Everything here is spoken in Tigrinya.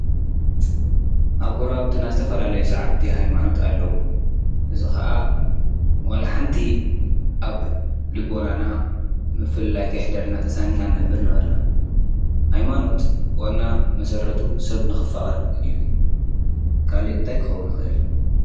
ኣብ ጎራብትና ዝተፈላለዩ ሰዓብቲ ሃይማኖት ኣለዉ፡፡ እዚ ኸዓ ወላ ሓንቲ ኣብ ልቦናና ምፍልላይ ከየሕደርና ተሳኒና ኢና ንነብር ነበርና ሃይማኖት ዋና መሠረቱ ሰብ ንኽፋቐር እዩ፡፡ ካልእ እንታይ ክኸውን ይኽእል?